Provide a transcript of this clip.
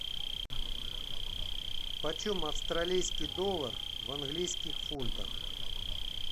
по чем австралийский доллар в английских фунтах